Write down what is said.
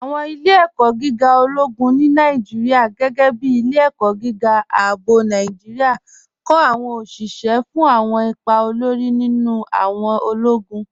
Awọn ilẹ̀-ẹ̀kọ̀ gígà ọlọ́gún ni Nàìjíríà, gẹgẹ́ bí Ilẹ̀-ẹ̀kọ̀ gígà Ààbọ̀ Nàìjíríà, kọ awọn oṣiṣẹ́ fún awọn ìpà òlórí nínu awọn ọlọ́gún.